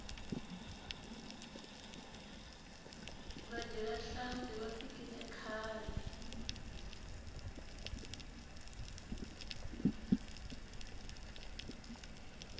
vadyi va nhlampfi va fikile khale